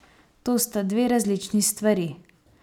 To sta dve različni stvari.